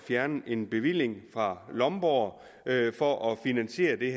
fjerne en bevilling fra lomborg for at finansiere det